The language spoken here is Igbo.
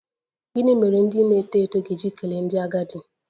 Gịnị mere ndị na-eto eto ga-eji kelee ndị agadi?